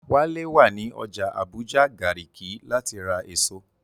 Wálé wà ní ọjà Àbújá Gàrìkí láti ra èso